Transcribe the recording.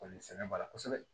Kɔni sɛnɛ b'a la kosɛbɛ